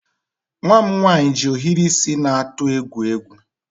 Nwa m nwaanyị ji ohiri isi na-atụ egwu egwu.